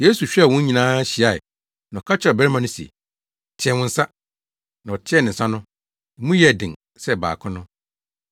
Yesu hwɛɛ wɔn nyinaa hyiae na ɔka kyerɛɛ ɔbarima no se, “Teɛ wo nsa.” Na ɔteɛɛ ne nsa no, emu yɛɛ den sɛ baako no.